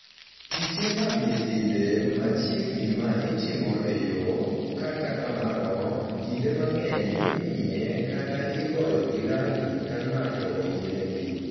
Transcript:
Piche mag nyithinde machiegni ma itimo e yo, kata kamano, kinde mang’eny imiye kata igoyogi rangi ka ng’ato oyienegi.